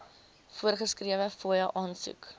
voorgeskrewe fooie aansoek